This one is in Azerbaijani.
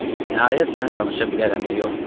Nəhayət mən danışa bilərəm ya yox?